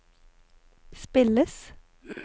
spilles